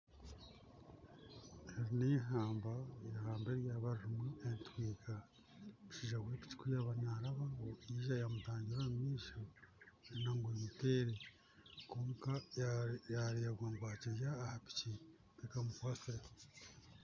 Aha nihamba, ihamba raba ririmu entwiga, omushaija wepiki kuba yaba narabaho yiija yamutangira omu maisho shana nga amutere kwonka yareebwa ngu akiri aha piki takamukwasireho.